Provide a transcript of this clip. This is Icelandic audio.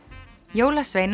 jólasveinar